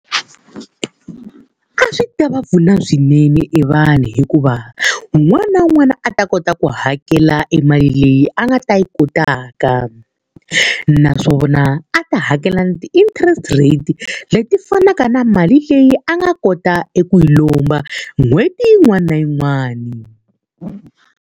A swi ta va pfuna swinene e vanhu hikuva un'wana na un'wana a ta kota ku hakela e mali leyi a nga ta yi kotaka. Naswona a ta hakela ti-interest rate leti fanaka na mali leyi a nga kota eku yi lomba n'hweti yin'wana na yin'wana.